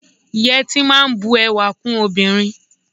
Yẹtí máa n bù ẹwà kún obìnrin.